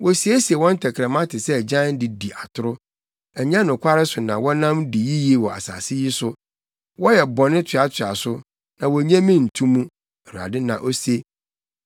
“Wosiesie wɔn tɛkrɛma te sɛ agyan de di atoro; Ɛnyɛ nokware so na wɔnam di yiye wɔ asase yi so. Wɔyɛ bɔne toatoa so; na wonnye me nto mu,” Awurade na ose.